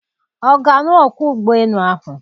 Ọ ga-alụ ọkwọ ụgbọelu ahụ?